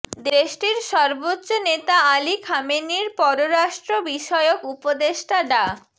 দেশটির সর্বোচ্চ নেতা আলী খামেনির পররাষ্ট্র বিষয়ক উপদেষ্টা ডা